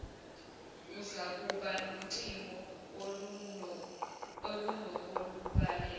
uzakuba nocingo olunokokulalela